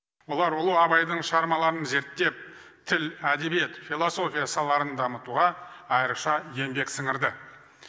олар ұлы абайдың шығармаларын зерттеп тіл әдебиет философия салаларын дамытуға айрықша еңбек сіңірді